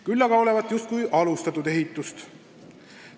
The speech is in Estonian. Küll aga olevat justkui alustatud ehitust.